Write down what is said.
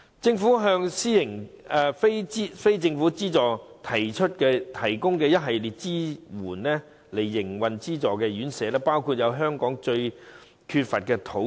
政府向非政府機構提供一系列營運資助院舍的支援，包括香港最為缺乏的土地。